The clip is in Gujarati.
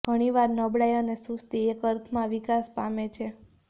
ઘણીવાર નબળાઇ અને સુસ્તી એક અર્થમાં વિકાસ પામે છે